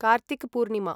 Kartik Purnima